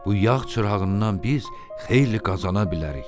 "Bu yağ çırağından biz xeyli qazana bilərik.